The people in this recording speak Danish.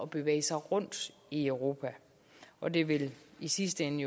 bevæge sig rundt i europa og det vil jo i sidste ende